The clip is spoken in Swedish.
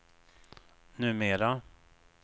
numera